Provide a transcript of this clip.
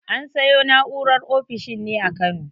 An sayo na'urar ofishin ne a Kano.